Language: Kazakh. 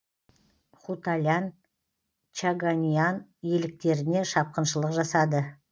хутталян чаганиан иеліктеріне шапқыншылық жасады